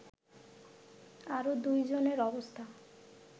আরো ২ জনের অবস্থা